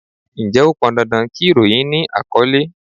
Ǹjẹ́ ó pọn dandan kí ìròyìn ni àkọ́lé?